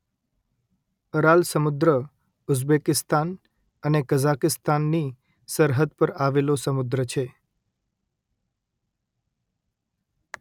Aral સમુદ્ર Uzbekistan અને કઝાકિસ્તાનની સરહદ પર આવેલો સમુદ્ર છે